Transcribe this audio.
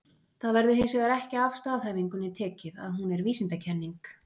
Það verður hins vegar ekki af staðhæfingunni tekið að hún er vísindakenning.